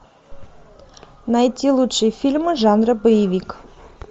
найти лучшие фильмы жанра боевик